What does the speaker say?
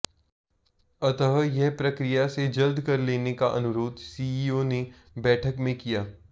अतः यह प्रक्रिया से जल्द कर लेने का अनुरोध सीईओ ने बैठक में किया